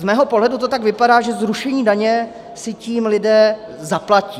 Z mého pohledu to tak vypadá, že zrušení daně si tím lidé zaplatí.